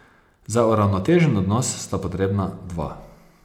Za uravnotežen odnos sta potrebna dva.